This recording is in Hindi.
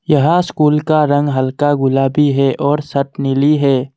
यह स्कूल का रंग हल्का गुलाबी है और सट नीली है।